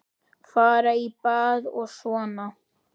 Fara í bað og svona.